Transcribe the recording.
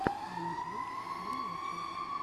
анджли первая часть